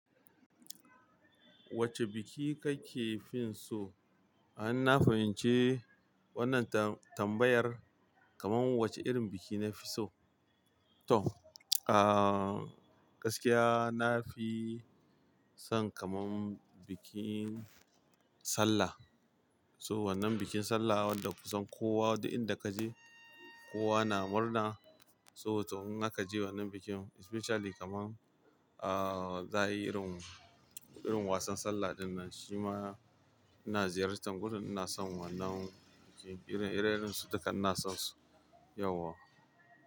Wacce biki kake fin so? In, na fahimci wannan tam-tambayar kaman wacce irin biki nafi so. To, ah, gaskiya nafi son kaman bikin Sallah. So wannan bikin Sallah wanda kusan kowa da inda kaje kowa na murna. So to in haka je wannan bikin especially kaman, ah, za yayi irin, irin wasan Sallah dinnan shima ina ziyartar gurin ina son wannan biki. Irin, irin su dukka ina sonsu yawa.